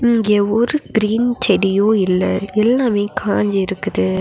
இங்க ஒரு கிரீன் செடியு இல்ல எல்லாமே காஞ்சு இருக்குது.